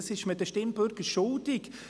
Das ist man den Stimmbürgern schuldig.